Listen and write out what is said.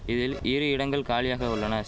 இதில் ஈரி இடங்கள் காலியாக உள்ளன